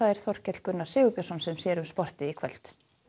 Þorkell Gunnar Sigurbjörnsson sér um sportið í kvöld